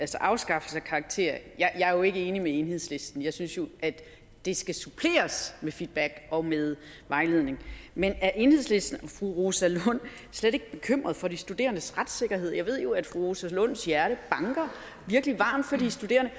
til afskaffelse af karakterer er jeg jo ikke enig med enhedslisten jeg synes at det skal suppleres med feedback og med vejledning men er enhedslistens fru rosa lund slet ikke bekymret for de studerendes retssikkerhed jeg ved jo at fru rosa lunds hjerte banker virkelig varmt for de studerende